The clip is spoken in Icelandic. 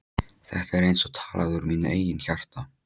Þetta er eins og talað úr mínu eigin hjarta.